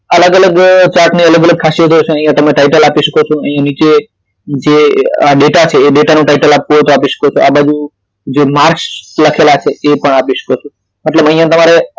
અલગ અલગ chart ની અલગ અલગ ખાસિયત હોય છે અહી તમે ટાઇટલ આપી શકો છો અહી નીચે જે ડેટા છે એ ડેટા નું ટાઇટલ આપવું હોય તો આપી શકો તો આ બાજુ જો માર્કસ લખેલા છે એ પણ આપી શકો છો તો અહિયાં તમે